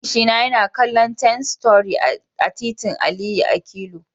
Ofishina yana kallon Ten Story a titin Aliyu Akilu.